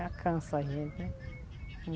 Já cansa a gente, né?